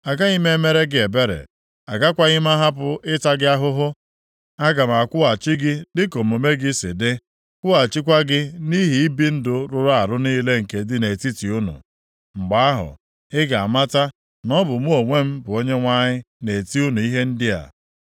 Agaghị m emere gị ebere, agakwaghị m ahapụ ịta gị ahụhụ. Aga m akwụghachi gị dịka omume gị si dị, kwụghachikwa gị nʼihi ibi ndụ rụrụ arụ niile nke dị nʼetiti unu. “ ‘Mgbe ahụ, ị ga-amata na ọ bụ mụ onwe m bụ Onyenwe anyị, na-eti unu ihe ndị a.